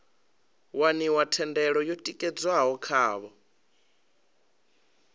waniwa thendelo yo tikedzwaho khavho